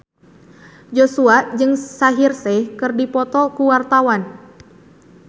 Joshua jeung Shaheer Sheikh keur dipoto ku wartawan